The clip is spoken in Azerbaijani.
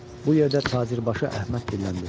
Bu yerdə tacirbaşı Əhməd dilləndi.